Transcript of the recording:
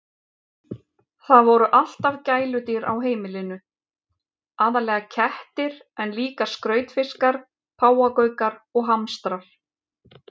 Það voru alltaf gæludýr á heimilinu, aðallega kettir en líka skrautfiskar, páfagaukar og hamstrar.